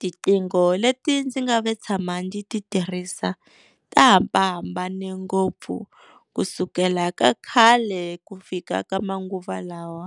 Tiqingho leti ndzi nga ve tshama ndzi ti tirhisa ti hambahambane ngopfu kusukela ka khale ku fika ka manguva lawa.